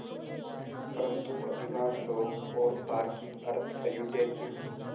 परन्तु अधिकांश लोग और तार्किक अर्थ अयोध्या के